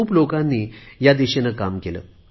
खूप लोकांनी या दिशेने काम केले आहे